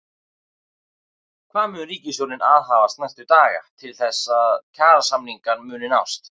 Hvað mun ríkisstjórnin aðhafast næstu daga til þess að kjarasamningar muni nást?